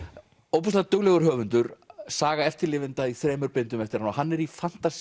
ofboðslega duglegur höfundur saga eftirlifenda í þremur bindum eftir hann hann er í